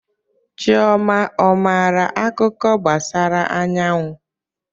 Chioma ọ maara akuko gbasara anyawu?